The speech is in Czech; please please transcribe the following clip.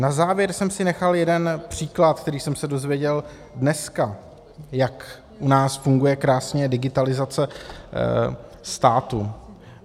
Na závěr jsem si nechal jeden příklad, který jsem se dozvěděl dneska, jak u nás funguje krásně digitalizace státu.